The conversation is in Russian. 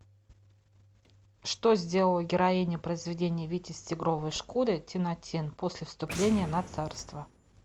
что сделала героиня произведения витязь в тигровой шкуре тинатин после вступления на царство